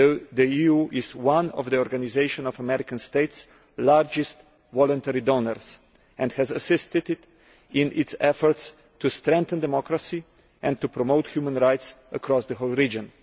The EU is one of the Organisation of American States' largest voluntary donors and has assisted it in its efforts to strengthen democracy and promote human rights across the region.